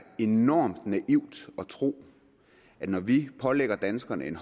enormt naivt at tro at når vi pålægger danskerne en